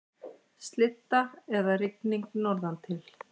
Slydda eða rigning norðantil